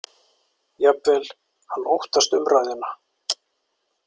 Jafnvel: Hann óttast umræðuna.